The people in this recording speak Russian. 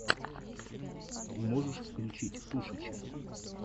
можешь включить тушича